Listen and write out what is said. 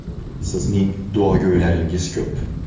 Sizning duogo‘ylaringiz ko‘p.